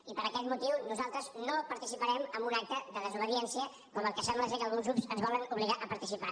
i per aquest motiu nosaltres no participarem en un acte de desobediència com el que sembla que alguns grups ens volen obligar a participar